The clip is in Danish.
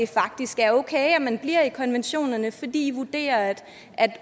faktisk er okay at man bliver i konventionerne fordi i vurderer at